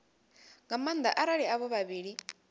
nga maanda arali avho vhavhili